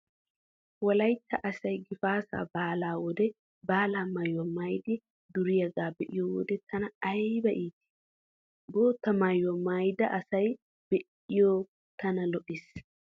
Wolaytta asay gifaataa baalaa wode baalaa maayuwaa maayidi duriyaagaa be'iyo wode tana ayba iitii. Bootta maayuwaa maayida asaa be'iyo tana lo'ees.